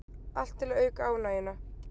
Allt til að auka ánægjuna